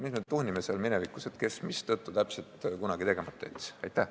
Mis me tuhnime seal minevikus, et kes mille tõttu täpselt kunagi midagi tegemata jättis.